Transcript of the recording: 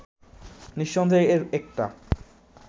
নিঃসন্দেহে এর একটা